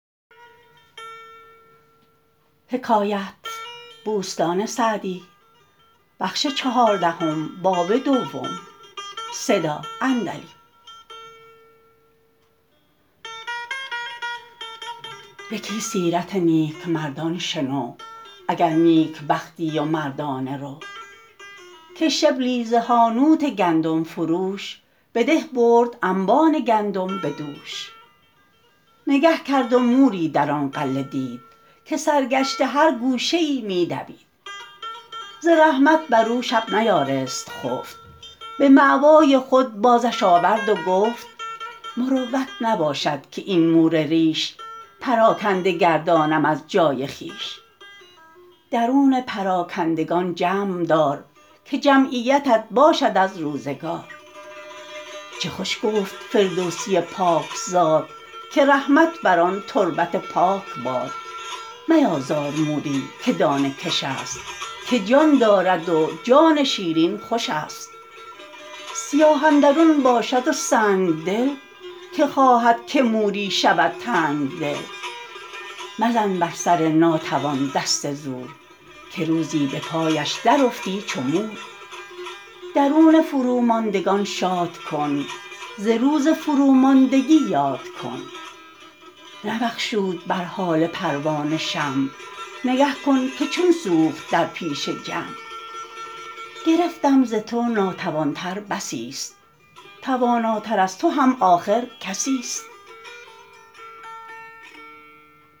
یکی سیرت نیکمردان شنو اگر نیکبختی و مردانه رو که شبلی ز حانوت گندم فروش به ده برد انبان گندم به دوش نگه کرد و موری در آن غله دید که سرگشته هر گوشه ای می دوید ز رحمت بر او شب نیارست خفت به مأوای خود بازش آورد و گفت مروت نباشد که این مور ریش پراکنده گردانم از جای خویش درون پراکندگان جمع دار که جمعیتت باشد از روزگار چه خوش گفت فردوسی پاک زاد که رحمت بر آن تربت پاک باد میازار موری که دانه کش است که جان دارد و جان شیرین خوش است سیاه اندرون باشد و سنگدل که خواهد که موری شود تنگدل مزن بر سر ناتوان دست زور که روزی به پایش در افتی چو مور درون فروماندگان شاد کن ز روز فروماندگی یاد کن نبخشود بر حال پروانه شمع نگه کن که چون سوخت در پیش جمع گرفتم ز تو ناتوان تر بسی است تواناتر از تو هم آخر کسی است